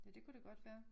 Ja det kunne det godt være